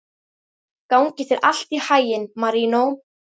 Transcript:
Gangi þér allt í haginn, Marínó.